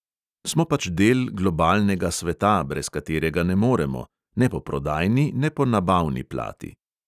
Smo pač del globalnega sveta, brez katerega ne moremo – ne po prodajni ne po nabavni plati.